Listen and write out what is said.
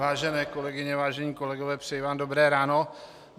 Vážené kolegyně, vážení kolegové, přeji vám dobré ráno.